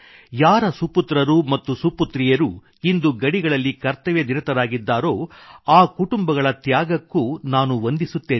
ಯಾರ ಸುಪುತ್ರರು ಮತ್ತು ಸುಪುತ್ರಿಯರು ಇಂದು ಗಡಿಗಳಲ್ಲಿ ಕರ್ತವ್ಯನಿರತರಾಗಿದ್ದಾರೋ ಆ ಕುಟುಂಬಗಳ ತ್ಯಾಗಕ್ಕೂ ನಾನು ವಂದಿಸುತ್ತೇನೆ